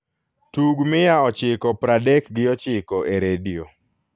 tug mia ochiko praadek gi ochiko e redio